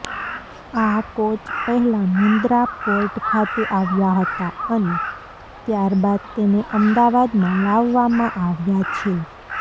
આ કોચ પહેલા મુંદ્રા પોર્ટ ખાતે આવ્યા હતા અને ત્યારબાદ તેને અમદાવાદમાં લાવવામાં આવ્યા છે